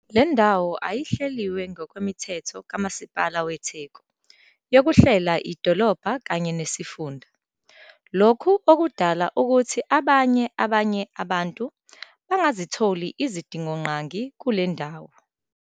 Lendawo ayihleliwe ngokwemithetho kaMasipala weTheku yokuhlela idolobha kanye nesifunda, lokhu okudala ukuthi abanye abanye bantu bangazitholi izidingonqangi kulendawo.